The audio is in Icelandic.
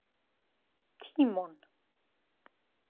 Tímon